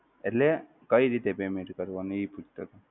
એટલે કઈ રીતે payment કરવાની એ પૂછતો હતો.